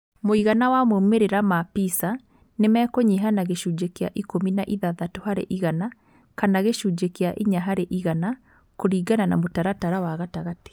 Mũigana wa maũmĩrĩra ma PISA nĩ mekũnyiha na gĩcunjĩ kĩa ikũmi na ithathatũ harĩ igana kana gĩcunjĩ kĩa inya harĩ igana, kũringana na mũtaratara wa gatagatĩ.